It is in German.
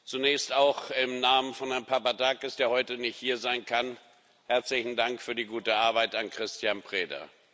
Zunächst auch im Namen von Herrn Papadakis, der heute nicht hier sein kann, herzlichen Dank für die gute Arbeit an Cristian Preda.